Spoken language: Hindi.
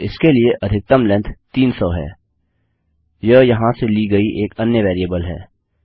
और इसके लिए अधिकतम लेन्थ 300 है यह यहाँ से ली गई एक अन्य वेरिएबल है